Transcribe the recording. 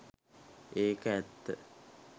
ඒක ඇත්ත